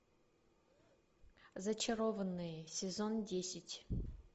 зачарованные сезон десять